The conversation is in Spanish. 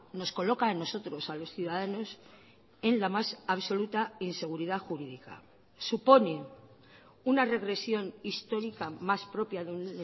nos coloca a nosotros a los ciudadanos en la más absoluta inseguridad jurídica supone una regresión histórica más propia de un